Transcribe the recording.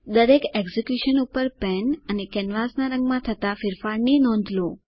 દરેક એક્ઝીક્યુશન ઉપર પેન અને કેનવાસના રંગમાં થતા ફેરફારની નોંધ લો